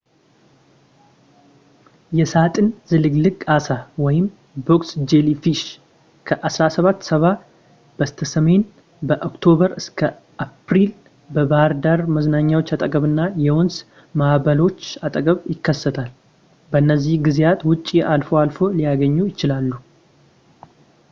የሣጥን ዝልግልግ ዓሣ box jellyfish ከ1770 በስተሰሜን ከኦክቶበር እስከ አፕሪል በባህር ዳር መዝናኛዎች አጠገብና የወንዝ ማእበለገቦች አጠገብ ይከሰታል። ከነዚህ ጊዜያት ውጭ አልፎ አልፎ ሊገኙ ይችላሉ